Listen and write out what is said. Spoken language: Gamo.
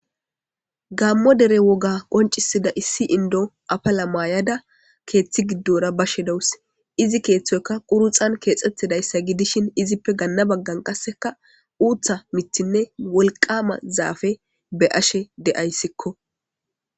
gammo dere woga qoncisida issi indo apala maayada keeththi giddora ba shidawus izi keeththoyka quruxan keexxettidayssa gidishin izippe ganna baggan qasseka uutha mithinne wolqama zaafe be ashe de7ayssikko